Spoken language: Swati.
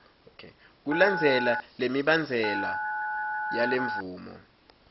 kulandzela lemibandzela yalemvumo